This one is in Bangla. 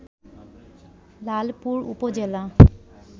লালপুর উপজেলা